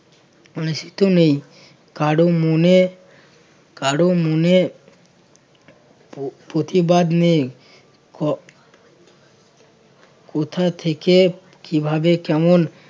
ঋষিতে নেই কারো মনে~ কারো মনে প্র~ প্রতিবাদ নেই ক~ কোথা থেকে কিভাবে কেমন